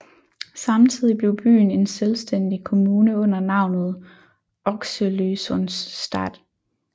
Samtidigt blev byen en selvstændig kommune under navnet Oxelösunds stad